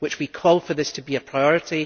we call for this to be a priority.